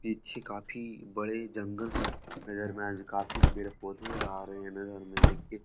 ई अच्छी काफी बड़े जंगल्स नजर में आज काफी पेड़-पौधे आ रहे नजर में देखिए --